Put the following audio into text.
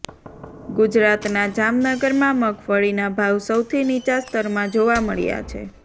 ગુજરાતના જામનગરમાં મગફળીના ભાવ સૌથી નિચા સ્તરમાં જોવા મળ્યા છે